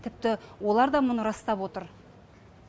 тіпті олар да мұны растап отыр